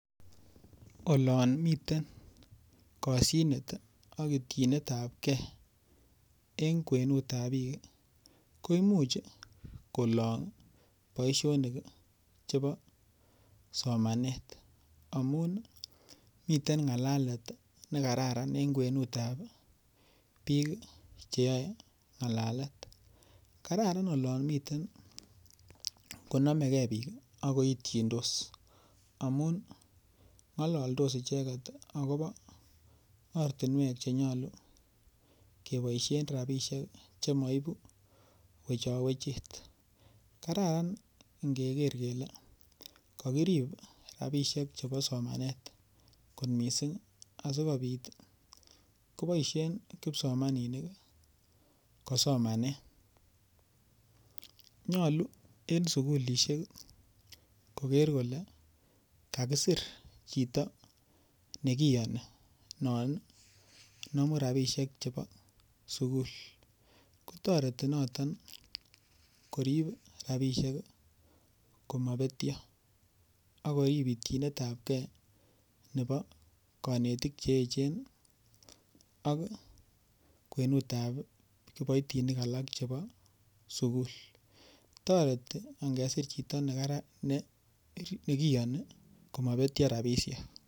Olon miten kosyinet ak ityinetapkei en kwenutab biik ii, koimuch kolong' boisionik ii chebo somanet amun miten ng'alalet nekararan en kwenutab biik cheyoe ng'alalet. Kararan olon miten yonomekei biik ak koityindos amun ng'ololdos icheket agobo ortinwek chenyolu keboisien rabisiek chemoibu wechowechet. Kararan ingeker kele kokirib rabisiek chebo somanet kot missing' asikobit koboisien kipsomaninik kosomanen. Nyolu en sukulisiek koker kole kakisir chito nekiyoni non nomu rabisiek chebo sukul, kotoreti noton korib rabisiek komobetio ak korib ityinetapkei nebo konetik cheechen ak kwenutap kipoitinik alak chebo sukul. Toreti ingesir chito nekara nekioni komobetio rabisiek.